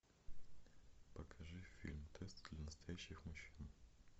покажи фильм тест для настоящих мужчин